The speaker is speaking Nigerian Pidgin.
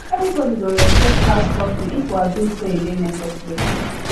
everybody go respect house curfew if we agree say e dey necessary